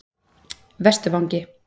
Vesturvangi